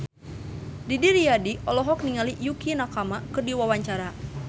Didi Riyadi olohok ningali Yukie Nakama keur diwawancara